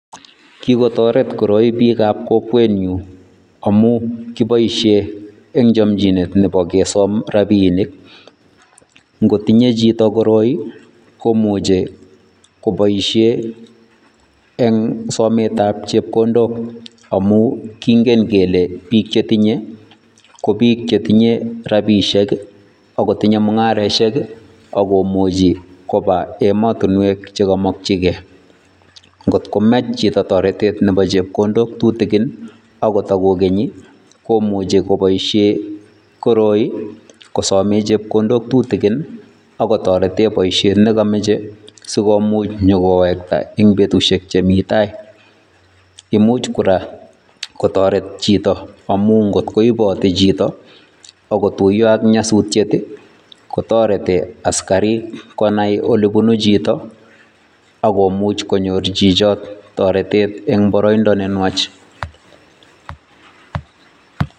Kikotoret koroi biikab kokwenyun amun kiboishen en chomchinet nebo kesom rabinik, ng'otinye chito koroi komuche koboishen eng' sometab chepkondok amun king'en kelee biik chetinye ko biik chetinye rabishek ak kotinye mung'aroshek ak komuchi kobaa emotinwek chekomokyikee, ng'ot komach chito toretet nebo chepkondok tutukin akot itokokeny komuche koboishen kosomen chepkondok tutukin ak kotoreten boishet nekomoche sikomuch inyokowekta en betushek chemii taai, imuch kora kotoret chito amun ng'ot koibete chito ak kotuiyo ak nyosutiet kotoreti konaii asikarik olebunu chito ak komuch konyor chichoo toretet eng' boroindo nenwach.